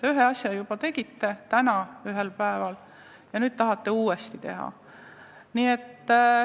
Ühe asja täna juba tegite ja nüüd tahate teise teha.